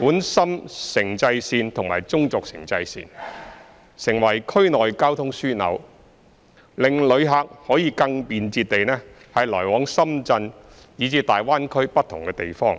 莞深城際線及中軸城際線，成為區內交通樞紐，令旅客可更便捷地來往深圳以至粵港澳大灣區不同地方。